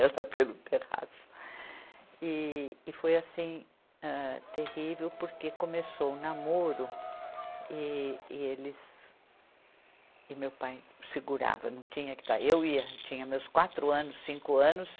pelo terraço e, e foi assim, âh, terrível porque começou o namoro e, e eles e meu pai segurava não tinha que estar eu ia tinha meus quatro anos cinco anos